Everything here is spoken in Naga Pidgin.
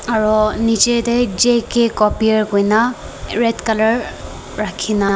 aro nichetey J K copier kuina red color rakhina.